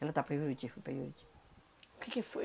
Ela tá para Juruti, foi para Juruti. Que que foi